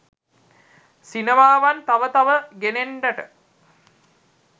සිනමාවන් තව තව ගෙනෙන්නට